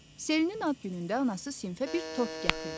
Selinin ad günündə anası sinfə bir tort gətirdi.